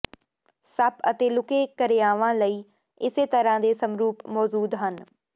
ਸੱਪ ਅਤੇ ਲੁਕੇ ਕਿਰਿਆਵਾਂ ਲਈ ਇਸੇ ਤਰ੍ਹਾਂ ਦੇ ਸਮਰੂਪ ਮੌਜੂਦ ਹਨ